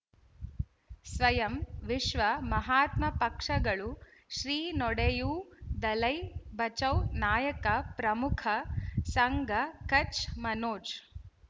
ಸ್ವಯಂ ವಿಶ್ವ ಮಹಾತ್ಮ ಪಕ್ಷಗಳು ಶ್ರೀ ನಡೆಯೂ ದಲೈ ಬಚೌ ನಾಯಕ ಪ್ರಮುಖ ಸಂಘ ಕಚ್ ಮನೋಜ್